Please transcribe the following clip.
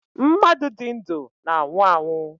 Mmadụ di ndu na-anwụ anwụ